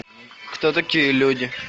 кто такие люди